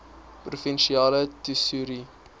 provinsiale tesourie